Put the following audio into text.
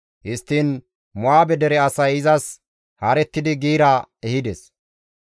Histtiin Mo7aabe dere asay izas haarettidi giira ehides.